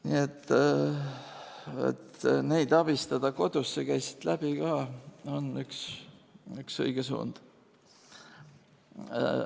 Nii et abistada neid kodus, see käis siit läbi ka, on üks õige suund.